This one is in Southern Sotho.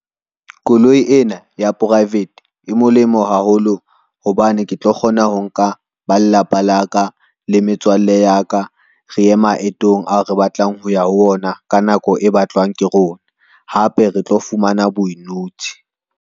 Koloi ena ya private e molemo haholo hobane ke tlo kgona ho nka ba lelapa la ka le metswalle ya ka, re ye maetong ao re batlang ho ya ho ona, ka nako e batlwang ke rona, hape re tlo fumana .